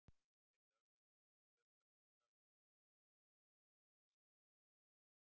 Þeir lögðu undir sig fjölda landa og gersigruðu flestalla heri Evrópu.